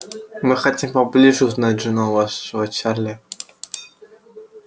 мы хотим поближе узнать жену вашего чарли